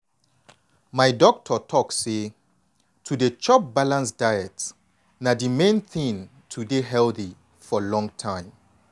my doctor talk say to dey chop balanced diet na di main thing to dey healthy for long time.